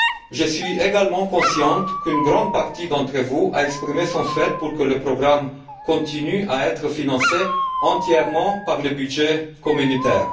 Je suis également conscient qu'une grande partie d'entre vous a exprimé le souhait que le programme continue d'être financé entièrement par le budget communautaire.